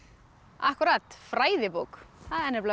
akkúrat fræðibók það er